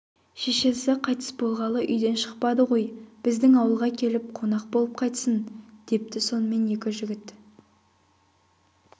шешесі қайтыс болғалы үйден шықпады ғой біздің ауылға келіп қонақ болып қайтсын депті сонымен екі жігіт